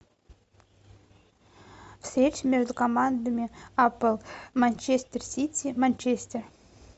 встреча между командами апл манчестер сити манчестер